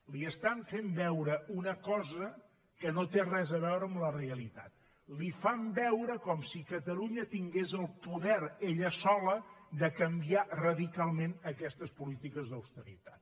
li estan fent veure una cosa que no té res a veure amb la realitat li fan veure com si catalunya tingués el poder ella sola de canviar radicalment aquestes polítiques d’austeritat